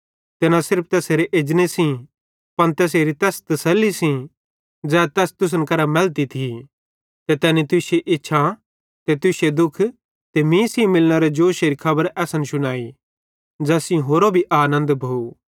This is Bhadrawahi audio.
ते न सिर्फ तैसेरे एजने सेइं पन तैसेरी तैस तसल्ली सेइं ज़ै तैस तुसन करां मैलती थी ते तैनी तुश्शी इच्छा ते तुश्शे दुःख ते मीं सेइं मिलनेरे जोशेरी खबर असन शुनाई ज़ैस सेइं होरो भी आनन्द भोव